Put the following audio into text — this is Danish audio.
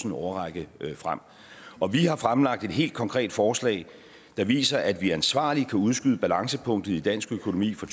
en årrække frem og vi har fremlagt et helt konkret forslag der viser at vi ansvarligt kan udskyde balancepunktet i dansk økonomi fra